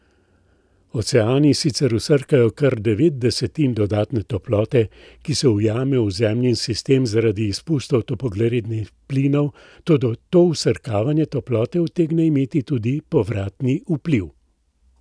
Oceani sicer vsrkajo kar devet desetin dodatne toplote, ki se ujame v Zemljin sistem zaradi izpustov toplogrednih plinov, toda to vsrkavanje toplote utegne imeti tudi povratni vpliv.